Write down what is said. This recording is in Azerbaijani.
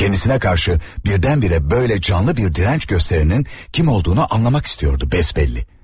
Kəndisinə qarşı birdən-birə belə canlı bir dirənç göstərənin kim olduğunu anlamaq istəyirdi bəsbəlli.